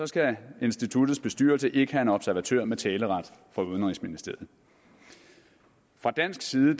skal instituttets bestyrelse ikke have en observatør med taleret fra udenrigsministeriet fra dansk side